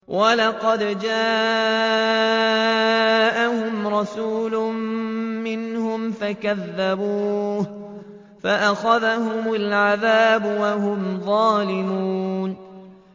وَلَقَدْ جَاءَهُمْ رَسُولٌ مِّنْهُمْ فَكَذَّبُوهُ فَأَخَذَهُمُ الْعَذَابُ وَهُمْ ظَالِمُونَ